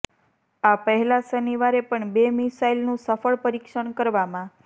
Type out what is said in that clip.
આ પહેલા શનિવારે પણ બે મિસાઇલનું સફળ પરિક્ષણ કરવામાં